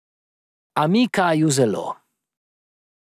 A mika ju zelo.